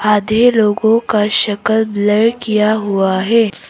आधे लोगों का शक्ल बलर् किया हुआ है।